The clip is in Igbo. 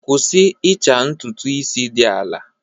Kwụsị ịcha ntutu isi dị ala!